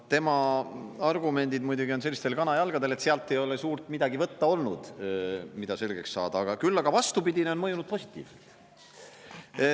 Tema argumendid muidugi on sellistel kanajalgadel, et sealt ei ole suurt midagi võtta olnud, mida selgeks saada, küll aga vastupidine on mõjunud positiivselt.